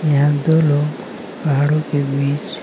यहां दो लोग पहाड़ों के बीच--